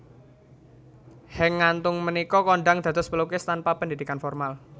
Henk Ngantung punika kondhang dados pelukis tanpa pendidikan formal